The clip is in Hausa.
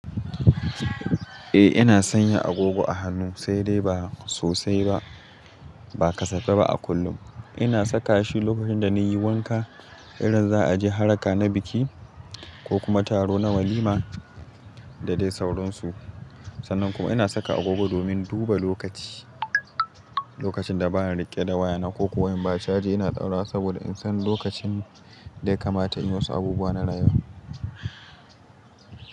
Eh ina sanya agogo a hannu sai dai ba sosai ba. Ba kasafai ba a kullum. Ina saka shi lokacin da na yi wanka, idan za a je haraka na biki ko kuma taro na walima da dai sauransu. Sannan kuma ina saka agogo domin duba lokaci, lokacin da ba na riƙe da waya na ko kuwa in ba caji ina daurawa saboda in san lokacin da ya kamata in yi wasu abubuwa na rayuwa.